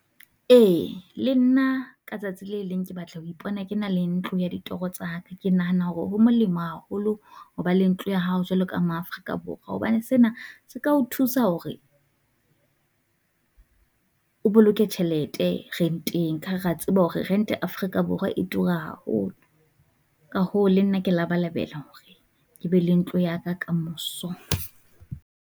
Ee le nna ka tsatsi le leng ke batla ho ipona, ke na le ntlo ya ditoro tsa, ke nahana hore ho molemo haholo hoba le ntlo ya hao jwalo ka mo Afrika Borwa. Hobane sena se ka ho thusa hore o boloke tjhelete renteng, ka ha rea tseba hore rente Africa Borwa e tura haholo, ka hoo le nna ke labalabela hore ke be le ntlo ya ka kamoso.